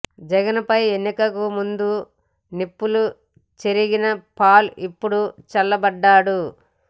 జగన్ పై ఎన్నికలకు ముందు నిప్పులు చెరిగిన పాల్ ఇప్పుడు చల్లబడ్డాడు